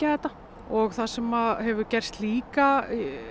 þetta og það sem hefur gerst líka